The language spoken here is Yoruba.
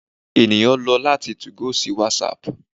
eniyan lọ lati 2go si whatsapp